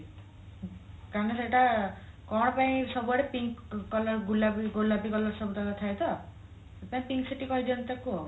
ତାଙ୍କ ସେଇଟା କଣ ପାଇଁ ସବୁ ଆଡେ pink colour ଗୁଲାପି ଗୋଲାପି colour ସବୁତକ ଥାଏ ତ ତ pink city କହିଦିଅନ୍ତି ତାକୁ ଆଉ